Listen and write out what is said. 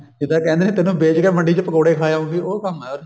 ਜਿੱਦਾਂ ਕਹਿੰਦੇ ਨਹੀਂ ਤੈਨੂੰ ਬੇਚ ਕੇ ਮੰਡੀ ਚ ਬੇਚ ਕੇ ਪਕੋੜੇ ਖਾ ਆਉਂਗੀ ਉਹ ਕੰਮ ਐ ਉਰੇ